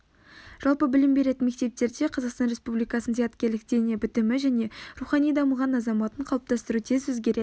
жалпы білім беретін мектептерде қазақстан республикасының зияткерлік дене бітімі және рухани дамыған азаматын қалыптастыру тез өзгеретін